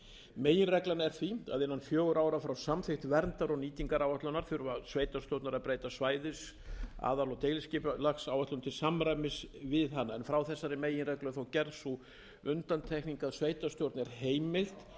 meginreglan er því að innan fjögurra ára frá samþykkt verndar og nýtingaráætlana þurfi sveitarstjórnar að breyta svæðis aðal og deiliskipulagsáætlun til samræmis við hana en frá þessari meginreglu er þó gerð sú undantekning að sveitarstjórn er heimilt að